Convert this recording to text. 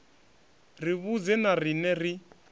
ri vhudze na riṋe ri